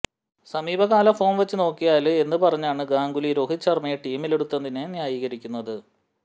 സമീപകാല ഫോം വെച്ചുനോക്കിയാല് എന്ന് പറഞ്ഞാണ് ഗാംഗുലി രോഹിത് ശര്മയെ ടീമിലെടുത്തതിനെ ന്യായീകരിക്കുന്നത്